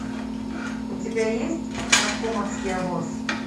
у тебя есть наркомовский обоз